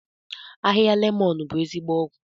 Ahịhịa lemon bụ ezigbo ọgwụ.